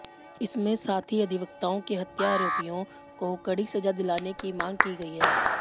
इसमें साथी अधिवक्ताओं के हत्यारोपियों को कड़ी सजा दिलाने की मांग की गई है